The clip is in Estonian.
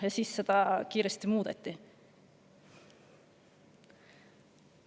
Ja siis seda kiiresti muudeti.